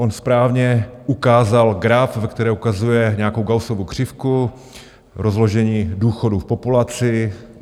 On správně ukázal graf, ve kterém ukazuje nějakou Gaussovu křivku, rozložení důchodů v populaci.